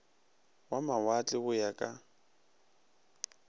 wa mawatle go ya ka